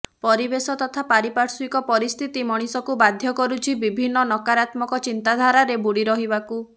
ପରିବେଶ ତଥା ପାରିପାଶ୍ୱିକ ପରିସ୍ଥିତି ମଣିଷକୁ ବାଧ୍ୟ କରୁଛି ବିଭିନ୍ନ ନକାରାତ୍ମକ ଚିନ୍ତାଧାରାରେ ବୁଡ଼ି ରହିବାକୁ